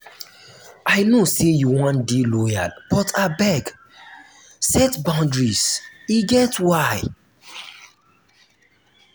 i know sey you wan dey loyal but abeg set boudaries e get why.